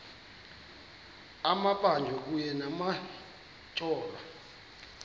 amabanjwa kunye nabatyholwa